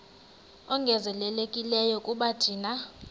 ongezelelekileyo kuba thina